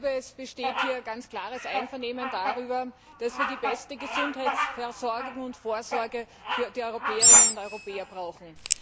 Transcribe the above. Es besteht hier ganz klares Einvernehmen darüber, dass wir die beste Gesundheitsversorgung und vorsorge für die Europäerinnen und Europäer brauchen.